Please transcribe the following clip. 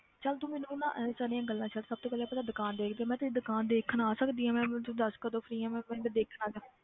ਚੱਲ ਤੂੰ ਮੈਨੂੰ ਪਹਿਲਾਂ ਇਹ ਸਾਰੀਆਂ ਗੱਲਾਂ ਛੱਡ ਸਭ ਤੋਂ ਪਹਿਲਾਂ ਆਪਦਾ ਦੁਕਾਨ ਦੇਖ ਤੇ ਮੈਂ ਤੇਰੀ ਦੁਕਾਨ ਦੇਖਣ ਆ ਸਕਦੀ ਹਾਂ ਮੈਂ ਮੈਨੂੰ ਤੂੰ ਦੱਸ ਕਦੋਂ free ਹੈ ਮੈਂ ਪਿੰਡ ਦੇਖਣ ਆ ਜਾਵਾਂ